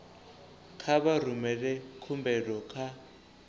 kha vha rumele khumbelo kha